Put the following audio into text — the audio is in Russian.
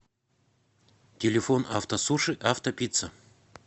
телефон автосуши автопицца